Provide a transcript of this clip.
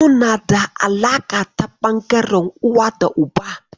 Suna da alaƙa ta ɓangaren uwa da uba.